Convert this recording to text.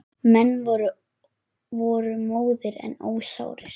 Menn voru móðir en ósárir.